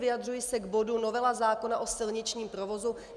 Vyjadřuji se k bodu novela zákona o silničním provozu.